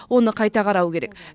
оны қайта қарау керек